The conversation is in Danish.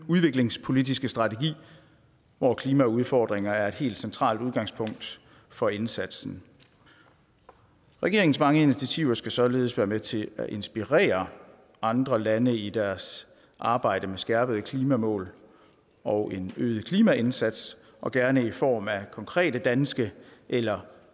udviklingspolitiske strategi hvor klimaudfordringer er et helt centralt udgangspunkt for indsatsen regeringens mange initiativer skal således være med til at inspirere andre lande i deres arbejde med skærpede klimamål og en øget klimaindsats og gerne i form af konkrete danske eller